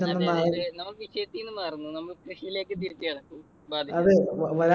നമ്മൾ വിഷയതീന്ന് മാറുന്നു. നമുക്ക് കൃഷിയിലേക്ക് തിരിച്ചു കടക്കു.